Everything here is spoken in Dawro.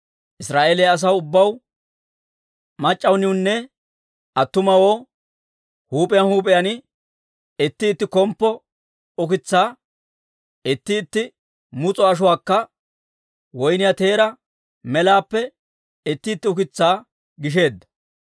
Israa'eeliyaa asaw ubbaw, mac'c'aaniwunne attumawoo, huup'iyaan huup'iyaan itti itti komppo ukitsaa, itti itti mus'o ashuwaakka woyniyaa teeraa melaappe itti itti ukitsaa gisheedda.